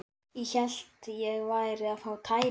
Ég hélt ég væri að fá tæringu.